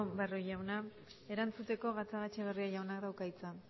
barrio jauna erantzuteko gatzagaetxebarria jaunak dauka hitza